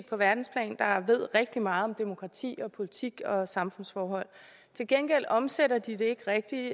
på verdensplan ved rigtig meget om demokrati og politik og samfundsforhold til gengæld omsætter de det ikke rigtig